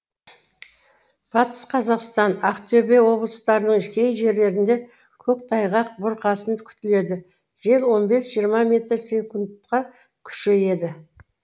батыс қазақстан ақтөбе облыстарының кей жерлерінде көктайғақ бұрқасын күтіледі жел он бес жиырма метр секундқа күшейеді